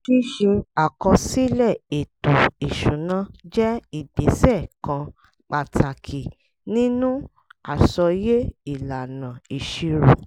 ṣíṣe àkọsílẹ̀ ètò ìṣúná jẹ́ ìgbésẹ̀ kan pàtàkì nínú àsọyé ìlànà ìṣirò